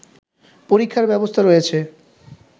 পরীক্ষার ব্যবস্থা রয়েছে